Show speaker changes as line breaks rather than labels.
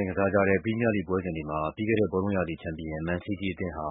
ိုင်ကစားကြတဲ့ ပရီးမီးယားလိဂ် ပွဲစဉ်တွေမှာ ပြီးခဲ့တဲ့ဘောလုံးရာသီ ချန်ပီယံ မန်စီးတီးအသင်းဟာ